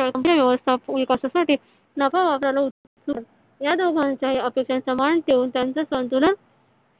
योग्य व्यवस्था विकासासाठी नफा वापरला या दोघांच्या अपेक्षेचा मान ठेवून त्यांचे संतुलन